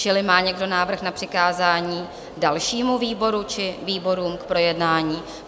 Čili má někdo návrh na přikázání dalšímu výboru či výborům k projednání?